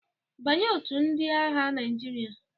Banye otu ndị aagha Naịjirịa?